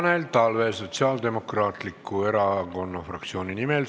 Tanel Talve Sotsiaaldemokraatliku Erakonna fraktsiooni nimel.